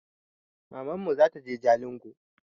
Mamanmu zataje jalingo